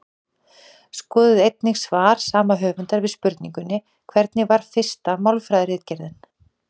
Skoðið einnig svar sama höfundar við spurningunni Hvernig var fyrsta málfræðiritgerðin?